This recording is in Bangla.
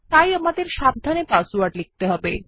তাই আমাদের সাবধানে পাসওয়ার্ড লিখতে হবে